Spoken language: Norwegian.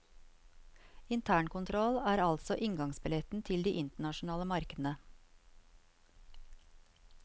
Internkontroll er altså inngangsbilletten til de internasjonale markedene.